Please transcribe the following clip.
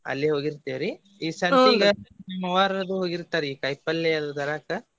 ಅಲ್ಲೆ ಹೋಗಿರ್ತೆವ್ರಿ ಈ ಸಂತಿಗ ನಮ್ ಅವ್ವಾರದು ಹೋಗಿರ್ತಾರಿ ಈ ಕಾಯಿಪಲ್ಲೆ ಅದು ತರಾಕ.